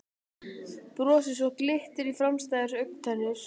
Brosi svo glittir í framstæðar augntennur.